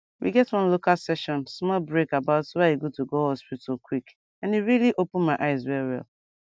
we get one local session small break about why e good to go hospital quick and e really open my eyes well well